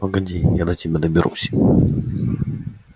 погоди я до тебя доберусь